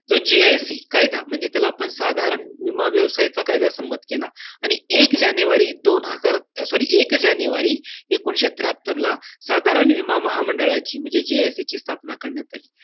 जो JIC कायदा म्हणजे त्याला आपण साधारण विमा व्यवसायाचा कायदा सहमत केला. आणि एक जानेवारी दोन हजार sorry एक जानेवारी एकोणीसशे त्र्याहत्तरला साधारण विमा महामंडळाची, म्हणजे JIC ची स्थापना करण्यात आली.